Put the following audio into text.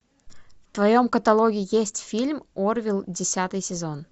в твоем каталоге есть фильм орвилл десятый сезон